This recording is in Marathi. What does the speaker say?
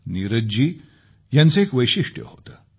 नीरज जी यांचं एक वैशिष्ट्य होतं